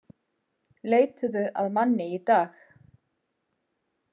Leituðu að manni í dag